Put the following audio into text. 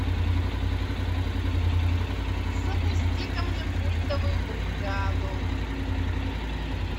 запусти ка мне культовую бригаду